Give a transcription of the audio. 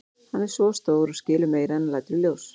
Hann er svo stór og skilur meira en hann lætur í ljós.